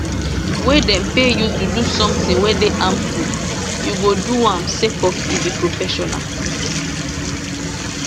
wey dem pay you to do somtin wey dey harmful you go do am sake of e be professional